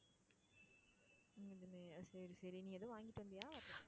சரி சரி. நீ ஏதும் வாங்கிட்டு வந்தியா?